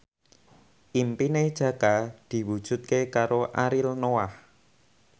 impine Jaka diwujudke karo Ariel Noah